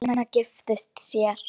Stína giftist sér.